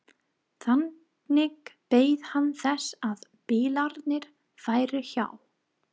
Þannig beið hann þess að bílarnir færu hjá.